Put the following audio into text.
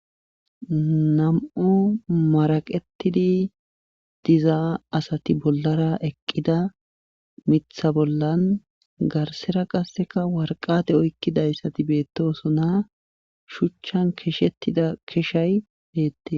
nam'u maraqetidi dizaa asati bollara eqqida mitha bollan garsera qasseka warqate oykkidayssati beettosonaa shuchchan keshettida keshay beette